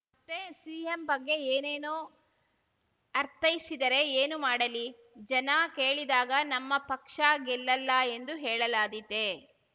ಮತ್ತೆ ಸಿಎಂ ಬಗ್ಗೆ ಏನೇನೋ ಅರ್ಥೈಸಿದರೆ ಏನು ಮಾಡಲಿ ಜನ ಕೇಳಿದಾಗ ನಮ್ಮ ಪಕ್ಷ ಗೆಲ್ಲಲ್ಲ ಎಂದು ಹೇಳಲಾದೀತೆ